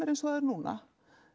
eins og það er núna